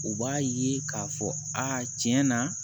U b'a ye k'a fɔ a tiɲɛ na